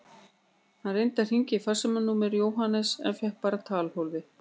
Hann reyndi að hringja í farsímanúmer Jóhanns en fékk bara talhólfið.